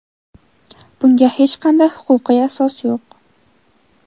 Bunga hech qanday huquqiy asos yo‘q.